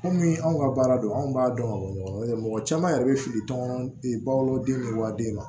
Komi anw ka baara don anw b'a dɔn ka bɔ ɲɔgɔn na mɔgɔ caman yɛrɛ be fili tɔmɔdenw de wa den ma